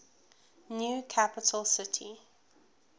new capital city